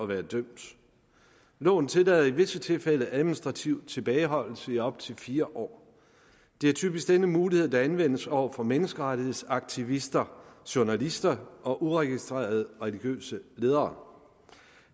være dømt loven tillader i visse tilfælde administrativ tilbageholdelse i op til fire år det er typisk denne mulighed der anvendes over for menneskerettighedsaktivister journalister og uregistrerede religiøse ledere